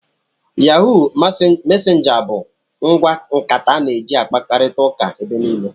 Yahụụ mesenja bụ ngwa nkata a na eji akparita ụka ebe niile.